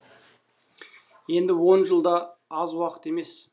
енді он жыл да аз уақыт емес